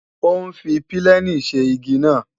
Ó ń fi pílènì ṣe igi náà